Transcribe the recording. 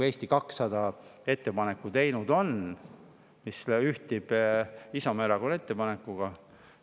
Eesti 200 on teinud ettepaneku, mis ühtib Isamaa Erakonna ettepanekuga.